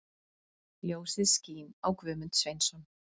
Ljósið skín á Guðmund Sveinsson.